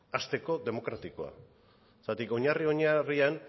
hasteko demokratikoa zergatik oinarri oinarrian